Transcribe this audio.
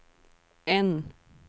N